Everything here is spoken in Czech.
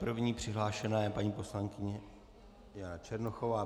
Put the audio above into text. První přihlášená je paní poslankyně Jana Černochová.